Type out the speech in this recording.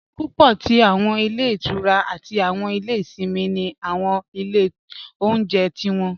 Púpọ̀ tí awọn ilẹ̀ ìtúrá àti awọn ilẹ̀ ìṣìnmi ni awọn ilẹ̀ ọ̀unjẹ̀ tí wọn.